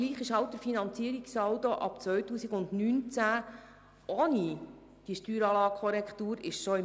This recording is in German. Aber der Finanzierungssaldo ab 2019 befindet sich bereits im Minus, ohne die Korrektur dieser Steueranlage.